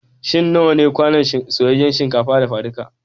Shin nawa ne kwanon soyayyan shinkafa dafaduka?